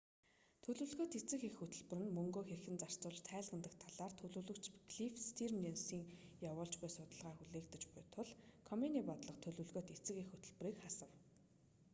төлөвлөгөөт эцэг эх хөтөлбөр нь мөнгөө хэрхэн зарцуулж тайлагнадаг талаар төлөөлөгч клифф стийрнсийн явуулж буй судалгаа хүлээгдэж буй тул комений бодлого төлөвлөгөөт эцэг эх хөтөлбөрийг хасав